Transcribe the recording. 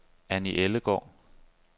Anni Ellegaard